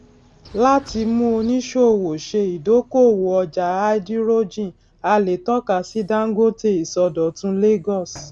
láti mú oníṣòwò ṣe idokóòwò ọjà háídírójìn a lè tọka sí dangote ìsọdọtun lagos